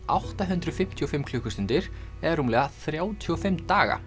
átta hundruð fimmtíu og fimm klukkustundir eða rúmlega þrjátíu og fimm daga